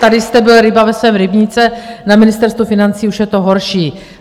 Tady jste byl ryba ve svém rybníce, na Ministerstvu financí už je to horší.